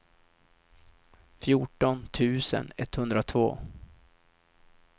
fjorton tusen etthundratvå